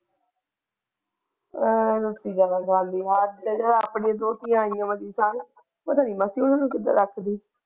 ਆਪਣੀ ਦੋਹਤਿਆਂ ਵਰਗੀ ਪਤਾ ਨਹੀਂ ਮਾਸੀ ਉਹਨੂੰ ਕਿਦਾਂ ਰੱਖਦੀ।